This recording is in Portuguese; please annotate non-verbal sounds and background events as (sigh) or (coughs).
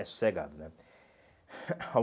É sossegado, né? (coughs)